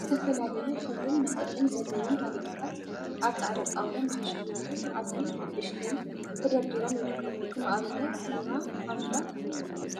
ዝተፈላለዩ ሕብሪን መጠንን ዘለዎም ታኒካታት አብ ፃዕዳ ጣውላ ንክሽየጡ ዓብይን ንእሽተይን ተደርዲሮም ይርከቡ፡፡ ከም አብነት ኑራ፣ ሃምዳ፣